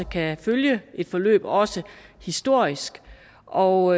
kan følge et forløb også historisk og